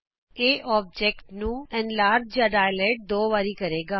ਇਹ ਚਿੱਤਰ ਦਾ ਦੁਗਣਾ ਵਿਸਤਾਰ ਕਰੇਗਾ